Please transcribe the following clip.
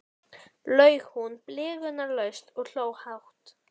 laug hún blygðunarlaust og hló hátt.